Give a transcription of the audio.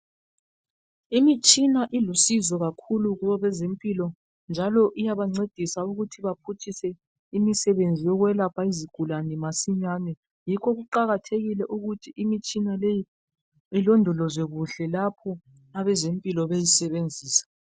Imitshina ilusizo kakhulu kwabezempilo .Njalo iyabancedisa ukuthi baphutshise imisebenzi yokwelapha izigulane masinyane. Yikho kuqakathekile ukuthi imitshina leyi ilondolozwe kuhle lapho abezempilo beyisebenzisa.